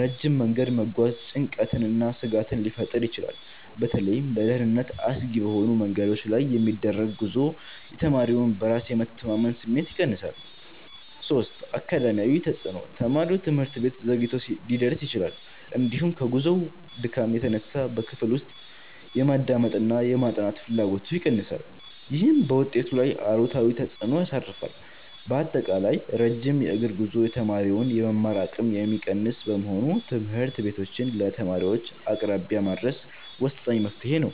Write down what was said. ረጅም መንገድ መጓዝ ጭንቀትንና ስጋትን ሊፈጥር ይችላል። በተለይም ለደህንነት አስጊ በሆኑ መንገዶች ላይ የሚደረግ ጉዞ የተማሪውን በራስ የመተማመን ስሜት ይቀንሳል። 3. አካዳሚያዊ ተፅዕኖ፦ ተማሪው ትምህርት ቤት ዘግይቶ ሊደርስ ይችላል፤ እንዲሁም ከጉዞው ድካም የተነሳ በክፍል ውስጥ የማዳመጥና የማጥናት ፍላጎቱ ይቀንሳል። ይህም በውጤቱ ላይ አሉታዊ ተፅዕኖ ያሳርፋል። ባጠቃላይ፣ ረጅም የእግር ጉዞ የተማሪውን የመማር አቅም የሚቀንስ በመሆኑ ትምህርት ቤቶችን ለተማሪዎች አቅራቢያ ማድረስ ወሳኝ መፍትሔ ነው።